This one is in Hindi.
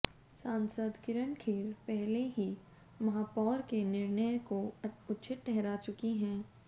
सांसद किरण खेर पहले ही महापौर के निर्णय को उछित ठहरा चुकी हैं